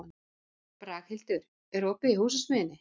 Braghildur, er opið í Húsasmiðjunni?